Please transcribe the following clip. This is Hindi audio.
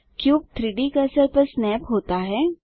क्यूब 3डी कर्सर पर स्नैप होता है